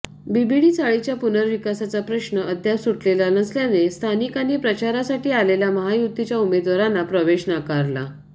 VDD चाळीच्या पुर्नविकासाचा प्रश्न अद्याप सुटलेला नसल्याने स्थानिकांनी प्रचारासाठी आलेल्या महायुतीच्या उमेदवारांना प्रवेश नाकारला